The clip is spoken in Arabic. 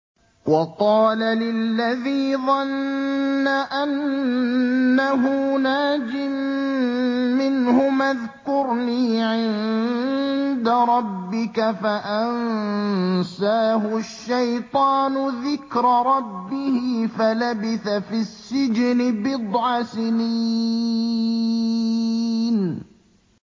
وَقَالَ لِلَّذِي ظَنَّ أَنَّهُ نَاجٍ مِّنْهُمَا اذْكُرْنِي عِندَ رَبِّكَ فَأَنسَاهُ الشَّيْطَانُ ذِكْرَ رَبِّهِ فَلَبِثَ فِي السِّجْنِ بِضْعَ سِنِينَ